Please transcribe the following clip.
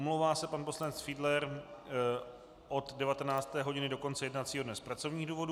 Omlouvá se pan poslanec Fiedler od 19. hodiny do konce jednacího dne z pracovních důvodů.